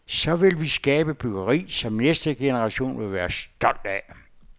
Så vil vi skabe byggeri, som næste generation vil være stolt af.